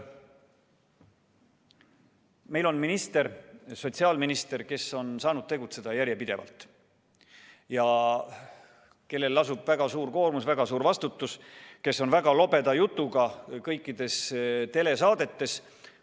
Meil on sotsiaalminister, kes on saanud tegutseda järjepidevalt ja kellel lasub väga suur koormus ja väga suur vastutus ning kes on väga lobeda jutuga kõikides telesaadetes.